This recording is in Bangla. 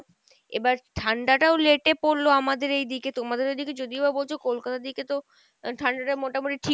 এবার ঠান্ডা টাও late এ পরলো আমাদের এইদিকে, তোমাদের ওইদিকে যদিও বা বলছো কলকাতার দিকে তো আহ ঠাণ্ডা টা মোটামোটি ঠিক